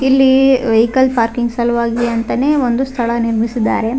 ಇಲ್ಲಿ vehicle parking ಸಲುವಾಗಿ ಅಂತಾನೇ ಒಂದು ಸ್ಥಳ ನಿರ್ಮಿಸಿದ್ದಾರೆ.